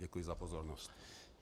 Děkuji za pozornost.